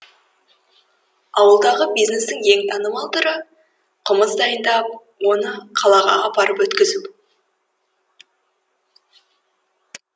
ауылдағы бизнестің ең танымал түрі қымыз дайындап оны қалаға апарып өткізу